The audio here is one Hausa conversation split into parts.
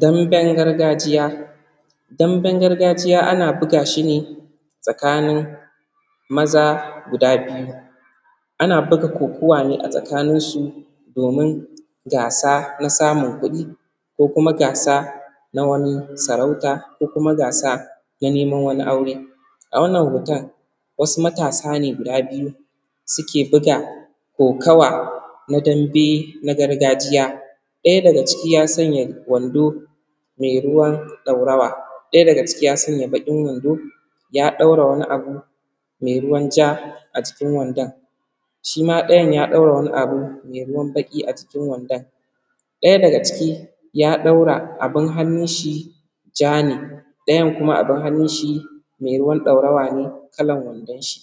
Danben gargajiya, danben gargajiya ana buga shi ne tsakanin maza guda biyu, ana buga kokuwa ne a tsakaninsu domin gasa na samun kuɗi ko kuma gasa na wani sarauta ko kuma gasa na neman wani aure. A wannan hoto wasu matasa ne guda biyu suke buga kokawa na dambe na garajiya, ɗaya daga ciki ya sanya wando me ruwan ɗorawa, ɗaya daga ciki ya sanya baƙin wando ya ɗaura wani abu me ruwan ja, a cikin wandan shi ma ɗayan ya ɗaura wani abu me ruwan baƙi. A jikin wandon ɗaya daga ciki ya ɗaura abun hannun shi ja ne, ɗayan kuma abun hannun shi me ruwan ɗorawa ne, kalan wandon shi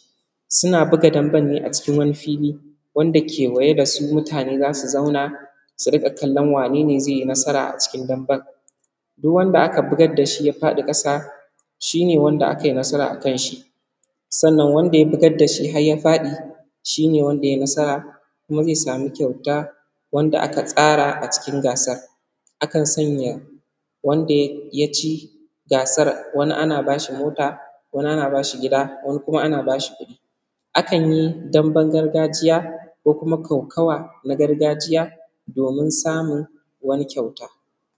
suna buga damben ne a cikin wani fili wanda a kewaye da su mutane za su zauna su riƙa kallon wane ne ze yi nasara cikin damben. Duk wanda aka bugar da shi ya faɗi ƙasa shi ne wanda akai nasara akan shi, sannan wanda ya bugar da shi har ya faɗi shi ne wanda ya yi nasara, kuma ze samu kyauta wanda aka tsara a cikin gasar. A kan sanya wanda ya ci gasar wani mota, wani ana ba shi gida, wani kuma ana ba shi kuɗi, akan yi damben gargajiya ko kuma kokawa na gargajiya domin samun wani kyauta.